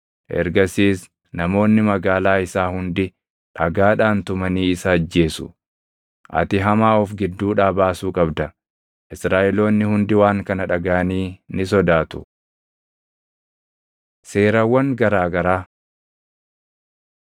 Ergasiis namoonni magaalaa isaa hundi dhagaadhaan tumanii isa ajjeesu. Ati hamaa of gidduudhaa baasuu qabda. Israaʼeloonni hundi waan kana dhagaʼanii ni sodaatu. Seerawwan Garaa garaa